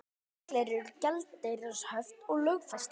Reglur um gjaldeyrishöft lögfestar